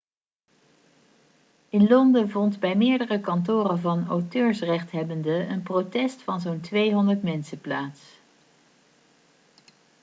in london vond bij meerdere kantoren van auteursrechthebbenden een protest van zo'n 200 mensen plaats